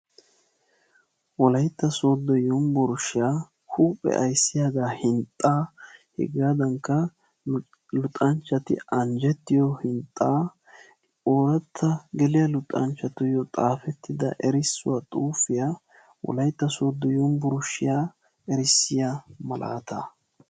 Wolayitta sooddo yunburshshiya huuphe ayssiyaaga hinxxaa, hegaadankka luxanchchati anjjettiyo hinxxaa, ooratta geliya luxanchatuyo xaafettida erissuwa xuufiya wolayitta sooddo yunburshshiya erissiya malaataa.